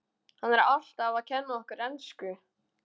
Hann er alltaf að kenna okkur ensku!